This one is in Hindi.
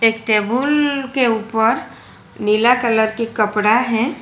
एक टेबुल के ऊपर नीला कलर की कपड़ा है।